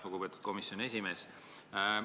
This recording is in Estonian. Lugupeetud komisjoni esimees!